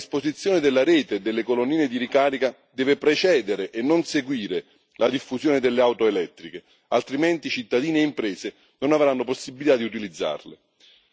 Ma la predisposizione della rete delle colonnine di ricarica deve precedere e non seguire la diffusione delle auto elettriche, altrimenti cittadini e imprese non avranno possibilità di utilizzarle.